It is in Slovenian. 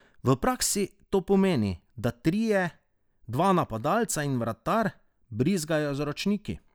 V praksi to pomeni, da trije, dva napadalca in vratar, brizgajo z ročniki.